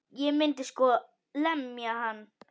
Ég myndi sko lemja hann.